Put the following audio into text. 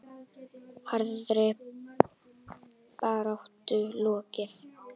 Harðri baráttu lokið.